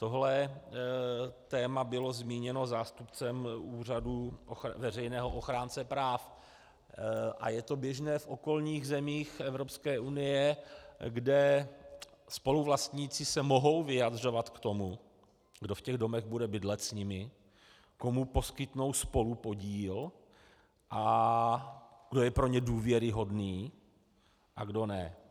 Tohle téma bylo zmíněno zástupcem Úřadu veřejného ochránce práv, a je to běžné v okolních zemích Evropské unie, kde spoluvlastníci se mohou vyjadřovat k tomu, kdo v těch domech bude bydlet s nimi, komu poskytnou spolupodíl a kdo je pro ně důvěryhodný a kdo ne.